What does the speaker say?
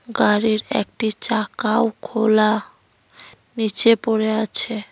গাড়ির একটি চাকাও খোলা নীচে পড়ে আছে।